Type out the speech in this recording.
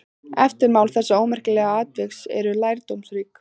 Eftirmál þessa ómerkilega atviks eru lærdómsrík.